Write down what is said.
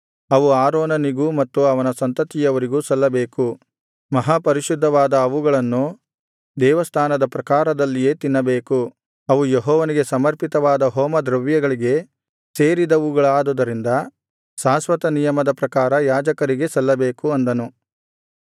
ಅವು ಆರೋನನಿಗೂ ಮತ್ತು ಅವನ ಸಂತತಿಯವರಿಗೂ ಸಲ್ಲಬೇಕು ಮಹಾಪರಿಶುದ್ಧವಾದ ಅವುಗಳನ್ನು ದೇವಸ್ಥಾನದ ಪ್ರಾಕಾರದಲ್ಲಿಯೇ ತಿನ್ನಬೇಕು ಅವು ಯೆಹೋವನಿಗೆ ಸಮರ್ಪಿತವಾದ ಹೋಮದ್ರವ್ಯಗಳಿಗೆ ಸೇರಿದವುಗಳಾದುದರಿಂದ ಶಾಶ್ವತನಿಯಮದ ಪ್ರಕಾರ ಯಾಜಕರಿಗೇ ಸಲ್ಲಬೇಕು ಅಂದನು